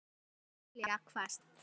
spyr Júlía hvasst.